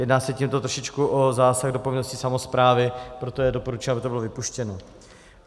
Jedná se tímto trošičku o zásah do povinnosti samosprávy, proto je doporučeno, aby to bylo vypuštěno.